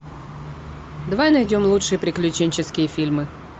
давай найдем лучшие приключенческие фильмы